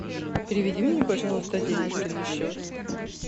переведи мне пожалуйста денежки на счет